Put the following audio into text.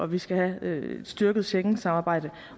og vi skal have styrket schengensamarbejdet